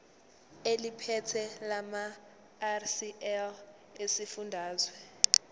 eliphethe lamarcl esifundazwe